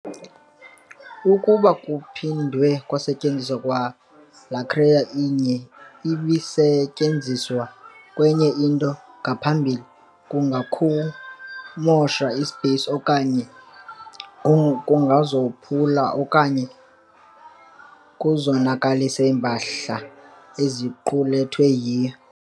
Ukuba kuphindwe kwasetyenziswa kwalaa-crate inye ibisetyenziswe kwenye into ngaphambili, kungakukumosha i-space, kwaye oko kungazophula okanye kuzonakalise iimpahla eziqulethwe yiyo.